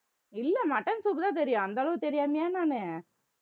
இல்லை mutton soup தான் தெரியும் அந்த அளவுக்கு தெரியாமயா நானு